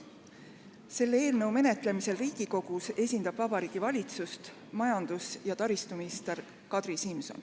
Selle eelnõu menetlemisel Riigikogus esindab Vabariigi Valitsust majandus- ja taristuminister Kadri Simson.